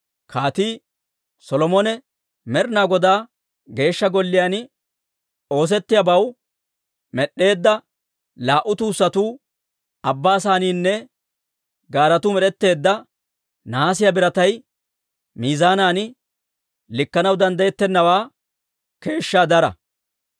Kaatii Solomone Med'inaa Godaa Geeshsha Golliyaan oosettiyaabatoo med'd'eedda laa"u tuussatuu, Abbaa Saynniinne gaaretuu med'etteedda nahaasiyaa biratay miizaanan likkanaw danddayettennawaa keeshshaa dara.